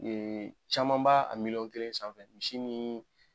caman ba a miliyɔn kelen sanfɛ misi ni